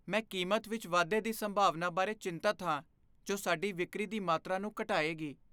ਮੈਂ ਕੀਮਤ ਵਿੱਚ ਵਾਧੇ ਦੀ ਸੰਭਾਵਨਾ ਬਾਰੇ ਚਿੰਤਤ ਹਾਂ ਜੋ ਸਾਡੀ ਵਿਕਰੀ ਦੀ ਮਾਤਰਾ ਨੂੰ ਘਟਾਏਗੀ।